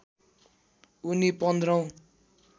उनी पन्ध्रौं